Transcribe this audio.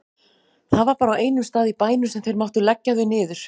Það var bara á einum stað í bænum sem þeir máttu leggja þau niður.